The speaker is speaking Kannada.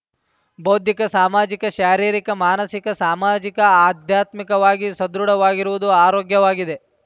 ಬೌದ್ಧಿಕ ಸಾಮಾಜಿಕ ಶಾರೀರಿಕ ಮಾನಸಿಕ ಸಾಮಾಜಿಕ ಅಧ್ಯಾತ್ಮಿಕವಾಗಿ ಸದೃಢವಾಗಿರುವುದು ಆರೋಗ್ಯವಾಗಿದೆ